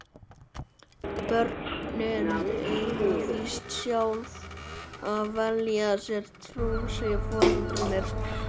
Börnin eiga víst sjálf að velja sér trú, segja foreldrarnir.